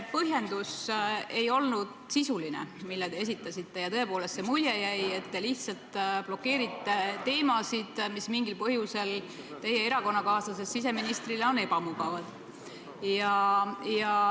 Põhjendus, mille te esitasite, ei olnud sisuline ja tõepoolest jäi selline mulje, et te lihtsalt blokeerite teemasid, mis mingil põhjusel teie erakonnakaaslasest siseministrile on ebamugavad.